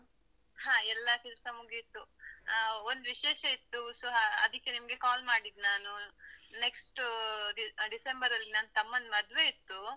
ಹ ಎಲ್ಲಾ ಕೆಲ್ಸ ಮುಗಿತು. ಅಹ್ ಒಂದ್ ವಿಶೇಷ ಇತ್ತು, so ಅಹ್ ಅದಿಕ್ಕೆ ನಿಮ್ಗೆ call ಮಾಡಿದ್ದ್ ನಾನು. next ಡಿಸೆಂಬರಲ್ಲಿ ನನ್ ತಮ್ಮನ್ ಮದ್ವೆ ಇತ್ತು.